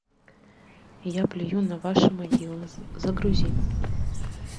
я плюю на ваши могилы загрузи